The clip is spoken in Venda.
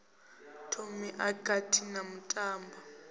thomi e kati na mutambo